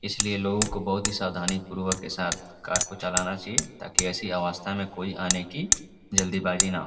इसलिए लोगों को बहुत ही सावधानीपूर्वक के साथ कार को चलाना चाहिए ताकि ऐसी अवस्था में कोई आने की जल्दीबाजी न हो।